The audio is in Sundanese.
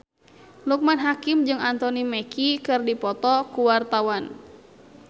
Loekman Hakim jeung Anthony Mackie keur dipoto ku wartawan